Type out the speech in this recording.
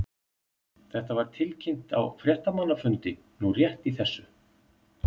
Þetta var tilkynnt á fréttamannafundi nú rétt í þessu.